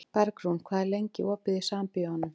Bergrún, hvað er lengi opið í Sambíóunum?